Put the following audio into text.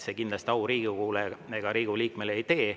See kindlasti au Riigikogule ega Riigikogu liikmele ei tee.